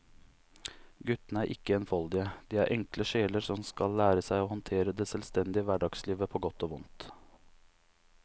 Guttene er ikke enfoldige, de er enkle sjeler som skal lære seg å håndtere det selvstendige hverdagslivet på godt og vondt.